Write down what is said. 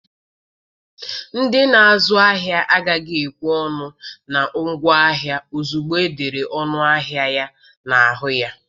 Ndị na-azụ ahịa agaghị ekwe ọnụ na ngwaahịa ozugbo e dere ọnụ ahịa ya na-ahụ ya.